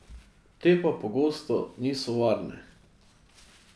Te pa pogosto niso varne.